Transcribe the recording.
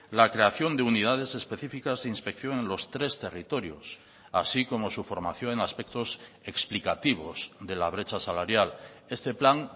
la creación de unidades específicas e inspección en los tres territorios así como su formación en aspectos explicativos de la brecha salarial este plan